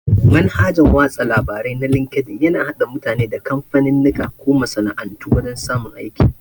Manhajan watsa labare na linkedin yana hada mutane da kamfaninnika ko masana'antu wajan samun aiki